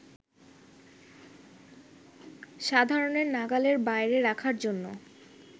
সাধারণের নাগালের বাইরে রাখার জন্য